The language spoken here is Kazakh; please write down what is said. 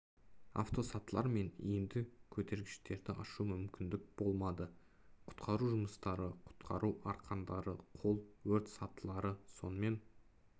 автосатылар мен иінді көтергіштерді ашу мүмкін болмады құтқару жұмыстары құтқару арқандары қол өрт сатылары сонымен